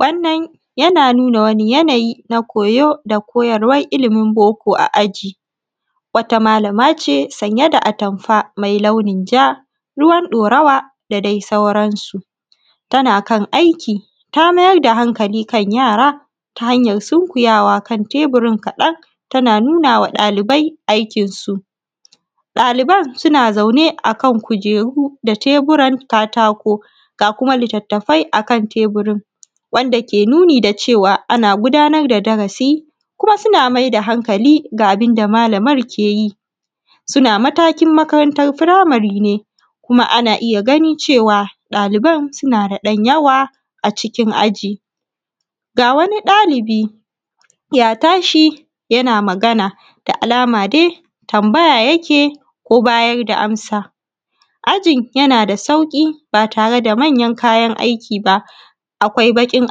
wannan na nu:na wani jana:ji na ko:jo: da ko:jarwar iliimin bo:ko a a:ʤi wata ma:lama ʧe sanje: da atamfa mai launin ʤaa ru:wan ɗaurawa da dai sauransu tana kan aiki ta ma:jar da hankali kan ja:ra ta hanjan sunkujawa kan te:burin kaɗan tana nu:na wa ɗalibai aikinsu ɗa:liiban suna zaune a kan ku:uʤe:ru da te:bu:ran ka:ta:ko ga kuma litttafai akan te:bu:rin wanda ke nu:ni da ʧewa ana gu:da:nar da dara:si kuma suna mai da hankali ga abunda ma:la:mar ke ji suna matakin makarantan fura:mari ne kuma ana ija gani ʧewa ɗa:li:ban suna da ɗan jawa a ʧikin aʤi ga wani ɗa:li:bi ja ta:ʃi jana magana da a:lama dai tamba:ja ja ke ko ba:jar da amsa aʤin jana da sauƙi ba tare da manjan ka:jan aiki ba akwai baƙin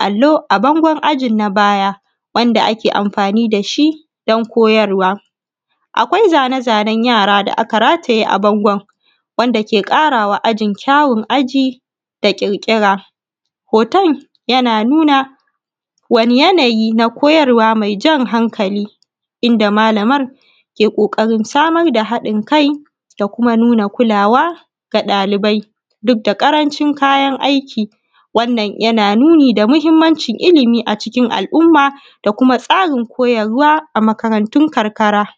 allo: a bangon aʤin na ba:ja wanda ake amfa:ni da shi don ko:jarwa akwai za:ne za:nan ja:ra da aka a:ʤe a bangon wanda ke ƙa:rawa a:ʤin kja:wun a:ʤi da ƙirƙi:ra ho:ton jana nuna wani janaji na ko:jarwa mai ʤan hanka:li inda mala:mar ke: ƙo:ƙa:rin sa:mar da haɗin kai da kuma nu:na ku:lawa ga ɗali:bai duk da ƙaraʧin ka:jan aiki wannan jana nu:ni da mahimmanʧin iliimi a ʧikin alumma da kuma tsa:rin ko:jarwa a maka:rantun karka:ra